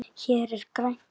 Hér er grænt.